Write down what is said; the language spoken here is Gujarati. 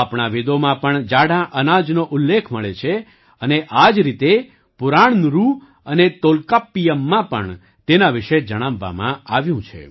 આપણા વેદોમાં પણ જાડાં અનાજનો ઉલ્લેખ મળે છે અને આ જ રીતે પુરાણનુરુ અને તોલ્કાપ્પિયમમાં પણ તેના વિશે જણાવવામાં આવ્યું છે